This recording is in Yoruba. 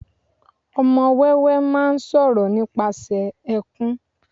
ọmọ wéwé ma ń sọ̀rọ̀ nípasẹ̀ ẹkùn